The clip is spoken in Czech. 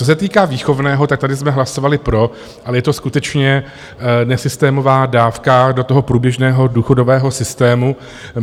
Co se týká výchovného, tak tady jsme hlasovali pro, ale je to skutečně nesystémová dávka do toho průběžného důchodového systému.